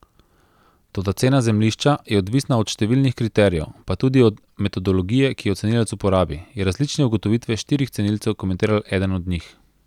Toda cena zemljišča je odvisna od številnih kriterijev, pa tudi od metodologije, ki jo cenilec uporabi, je različne ugotovitve štirih cenilcev komentiral eden od njih.